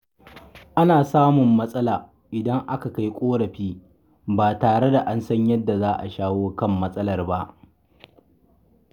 Ana samun matsala idan aka kai ƙorafi ba tare da an san yadda za a shawo kan matsalar ba